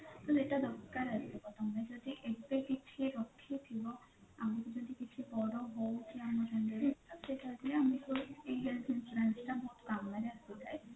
ତ ଏଟା ଦରକାର ଆସିବ ତମେ ଯଦି ଏତେ କିଛି ରଖିଥିବ ଆମକୁ ଯଦି କିଛି ପର ହଉ କି ଆମ relative ହୋଉଛି ଆମ ସାଙ୍ଗରେ health insurance ଏଇଟା ଆମର କାମରେ ଆସିଥାଏ